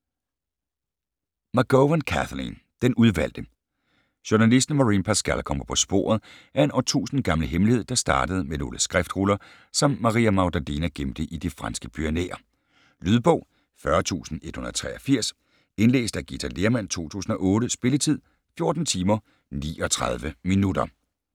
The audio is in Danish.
McGowan, Kathleen: Den udvalgte Journalisten Maureen Pascal kommer på sporet af en årtusind gammel hemmelighed der startede med nogle skriftruller som Maria Magdalena gemte i de franske Pyrenæer. Lydbog 40183 Indlæst af Githa Lehrmann, 2008. Spilletid: 14 timer, 39 minutter.